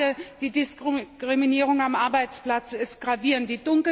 Denn gerade die Diskriminierung am Arbeitsplatz ist gravierend.